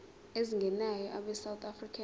ezingenayo abesouth african